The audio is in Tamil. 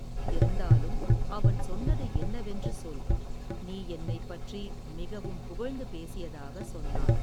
இருந்தாலும் அவன் சொன்னது என்னவென்று சொல் நீ என்னை பற்றி மிகவும் புகழ்ந்து பேசியதாக சொன்னான்.